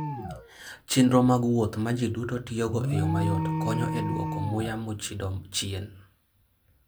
Chenro mag wuoth ma ji duto tiyogo e yo mayot, konyo e dwoko muya mochido chien.